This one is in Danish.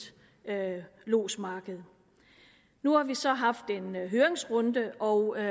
lodsmarked nu har vi så haft en høringsrunde og